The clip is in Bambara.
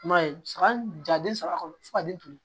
I m'a ye hali ja den saba kɔnɔ fo ka den duuru